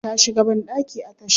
Ta shiga bandaki a tasha.